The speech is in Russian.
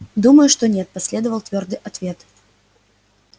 думаю что нет последовал твёрдый ответ